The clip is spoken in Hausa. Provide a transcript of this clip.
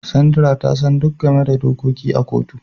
Sandra ta san duk game da dokoki a kotu.